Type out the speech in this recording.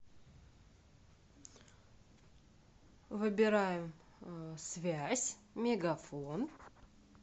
выбираем связь мегафон